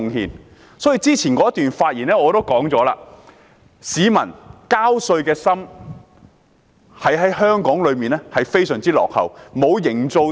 我在之前的發言中也提到，市民交稅的心在香港是相當落後的。